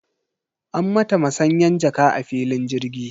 An mata masanyan jaka a filin jirgi.